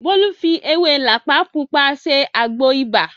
Bólú fi ewé làpá Pupa ṣe àgbo ibà